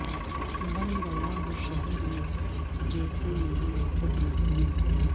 بن گیا ہو شہر یہ جیسے مری عادت نسیم